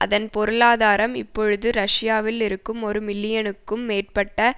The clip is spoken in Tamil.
அதன் பொருளாதாரம் இப்பொழுது ரஷ்யாவில் இருக்கும் ஒரு மில்லியனுக்கும் மேற்பட்ட